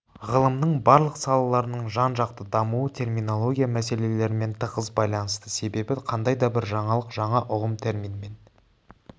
ғылымның барлық салаларының жан жақты дамуы терминология мәселелерімен тығыз байланысты себебі қандай да бір жаңалық жаңа ұғым терминмен